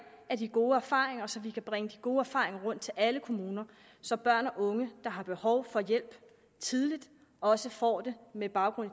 af de gode erfaringer og så vi kan bringe de gode erfaringer rundt til alle kommuner så børn og unge der har behov for hjælp tidligt også får det med baggrund i